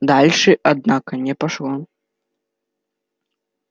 дальше однако не пошло